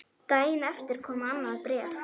Daginn eftir kom annað bréf.